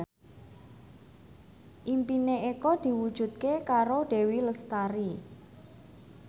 impine Eko diwujudke karo Dewi Lestari